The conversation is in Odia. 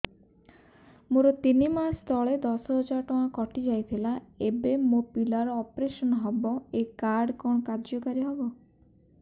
ମୋର ତିନି ମାସ ତଳେ ଦଶ ହଜାର ଟଙ୍କା କଟି ଯାଇଥିଲା ଏବେ ମୋ ପିଲା ର ଅପେରସନ ହବ ଏ କାର୍ଡ କଣ କାର୍ଯ୍ୟ କାରି ହବ